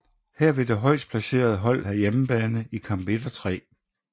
Her vil det højst placeret hold have hjemmebane i kamp 1 og 3